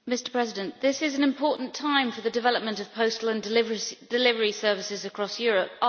Mr President, this is an important time for the development of postal and delivery services across Europe.